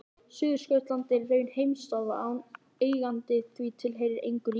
Suðurskautslandið er í raun heimsálfa án eiganda því það tilheyrir engu ríki.